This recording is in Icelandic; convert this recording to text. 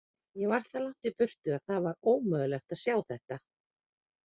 Ég var það langt í burtu að það var ómögulegt að sjá þetta.